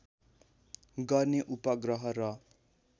गर्ने उपग्रह र